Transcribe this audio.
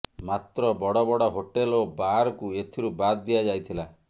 ମାତ୍ର ବଡ଼ବଡ଼ ହୋଟେଲ ଓ ବାରକୁ ଏଥିରୁ ବାଦ୍ ଦିଆଯାଇଥିଲା